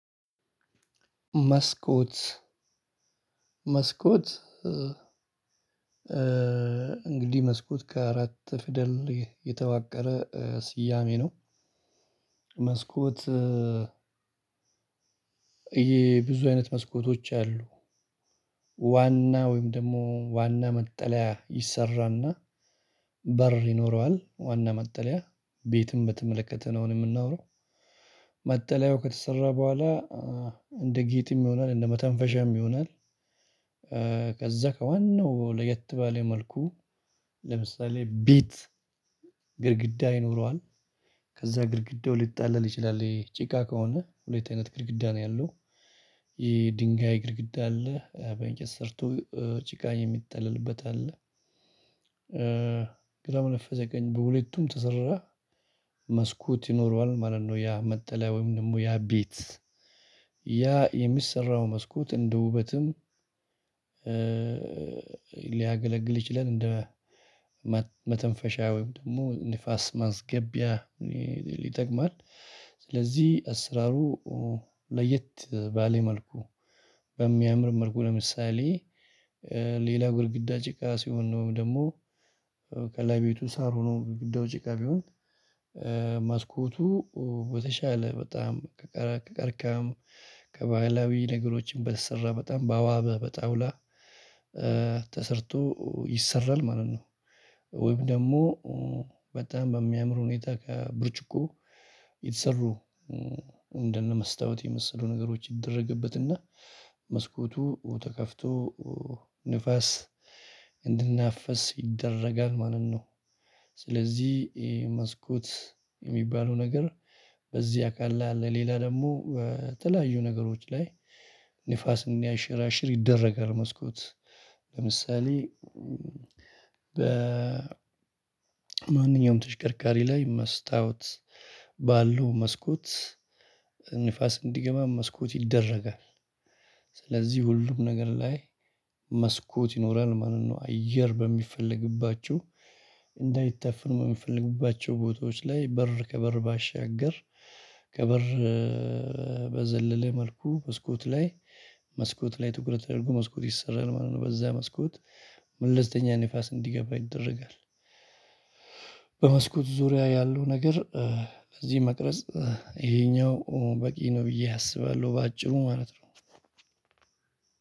መስኮት መስኮት እንግዲህ መስኮት ከአራት ፊደል የተዋቀረ ስያሜ ነው። መስኮት ይሄ ብዙ አይነት መስኮቶች አሉ። ዋና ወይም ደግሞ ዋና መጠለያ ይሰራና። በር ይኖረዋል ዋና መጠለያ ቤትም በተመለከተ ነው አሁን የምናወራው መጠለያው ከተሰራ በኋላ እንደ ጌጥም ይሆናል እንደ መተንፈሻም ይሆናል። ከዛ ከዋናው ለየት ባለ መልኩ ለምሳሌ ቢት ግድግዳ ይኖረዋል። ከዛ ግድግዳው ሊጠለል ይችላል ይሄ ጭቃ ከሆነ ሁለት አይነት ግድግዳ ነው ያለው። ይሄ ድንጋይ ግድግዳ አለ በእንጨት ሰርቶ ጭቃ የሚጠለልበት አለ። ግራው ነፈሰ ቀኝ በሁለቱም ተሰራ መስኮት ይኖረዋል ማለት ነው። ያ መጠለያ ወይም ደግሞ ያ ቤት ያ የሚሰራው መስኮት እንደ ውበትም ሊያገለግል ይችላል እንደ መተንፈሻ ወይም ደግሞ ንፋስ ማስገቢያ ይጠቅማል። ስለዚህ አስራሩ ለየት ባለ መልኩ በሚያምር መልኩ ለምሳሌ ሌላው ግድግዳ ጭቃ ሲሆን ነው ደግሞ ከላይ ቤቱ ሳር ሆኖ ግዳው ጭቃ ቢሆን። መስኮቱ በተሻለ በጣም ከቀርካም ከባህላዊ ነገሮችም በተሰራ በጣም ባዋበ በጣውላ ተሰርቶ ይሰራል ማለት ነው። ወይም ደግሞ በጣም በሚያምር ሁኔታ ከብርጭቆ የተሰሩ እንደነ መስታወት የመሰሉ ነገሮች ይደረግበትና መስኮቱ ተከፍቶ ንፋስ እንዲናፈስ ይደረጋል ማለት ነው። ስለዚህ መስኮት የሚባለው ነገር በዚህ አካል ላይ አለ ሌላ ደግሞ በተለያዩ ነገሮች ላይ ንፋስን እንዲያንሸራሽር ይደረጋል። መስኮት ለምሳሌ በማንኛውም ተሽከርካሪ ላይ መስታወት ባለው መስኮት ንፋስ እንዲገባ መስኮት ይደረጋል። ስለዚህ ሁሉም ነገር ላይ መስኮት ይኖራል ማለት ነው። አየር በሚፈለግባቸው እንዳይታፈን በሚፈልግባቸው ቦታዎች ላይ በር ከበር ባሻገር ከበር በዘለለ መልኩ መስኮት ላይ መስኮት ላይ ትኩረት ተደርጎ መስኮት ይሰራል ማለት ነው በዛ መስኮት መለሰተኛ ንፋስ እንዲገባ ይደረጋል። በመስኮት ዙሪያ ያለው ነገር እዚህ መቅረጽ ይሄኛው በቂ ነው ብዬ አስባለሁ በአጭሩ ማለት ነው።